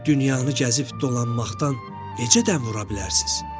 Dünyanı gəzib dolanmaqdan necə tən vura bilərsiniz?